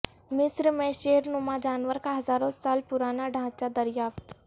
مصر میں شیر نما جانور کا ہزاروں سال پرانا ڈھانچہ دریافت